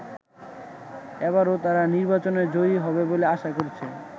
এবারও তারা নির্বাচনে জয়ী হবে বলে আশা করছে।